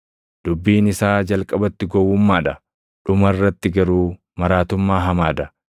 Dubbiin isaa jalqabatti gowwummaa dha; dhuma irratti garuu maraatummaa hamaa dha;